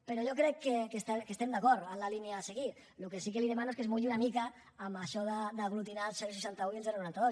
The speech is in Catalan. però jo crec que estem d’acord amb la línia a seguir el que sí que li demano és que es mulli una mica amb això d’aglutinar el seixanta un i el noranta dos